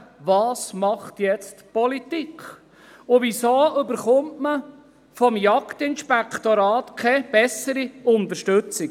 Was macht jetzt die Politik, und weshalb erhält man vom Jagdinspektorat keine bessere Unterstützung?